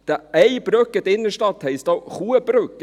» Eine Brücke in der Innenstadt heisst ja auch Kuhbrücke.